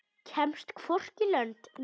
Kemst hvorki lönd né strönd.